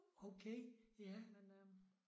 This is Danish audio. Okay ja